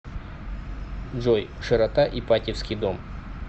джой широта ипатьевский дом